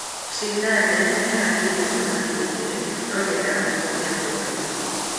Trindade nĩeharĩirie kuonana kĩ-mwĩrĩ nō nĩendaga mahũthire kondomu